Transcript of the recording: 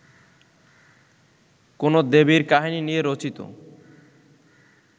কোন দেবীর কাহিনী নিয়ে রচিত